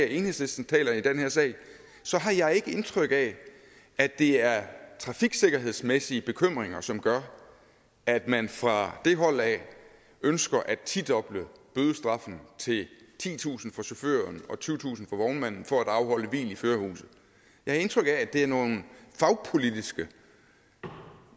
enhedslisten taler i den her sag så har jeg ikke indtryk af at det er trafiksikkerhedsmæssige bekymringer som gør at man fra det hold af ønsker at tidoble bødestraffen til titusind kroner for chaufføren og tyvetusind kroner for vognmanden for at afholde hvil i førerhuset jeg har indtryk af at det er nogle fagpolitiske